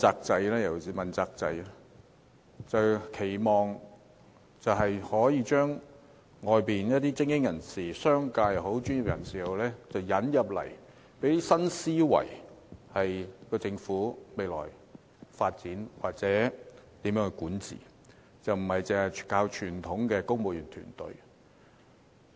政府期望透過問責制，引入外界精英人士，包括商界人士、專業人士，為香港未來發展或政府管治帶來新思維，而非單靠傳統的公務員團隊。